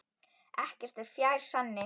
Ekkert er fjær sanni.